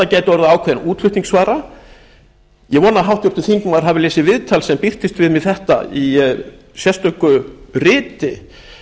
gæti orðið ákveðin útflutningsvara ég vona að háttvirtur þingmaður hafi lesið viðtal sem birtist við mig um þetta í sérstöku riti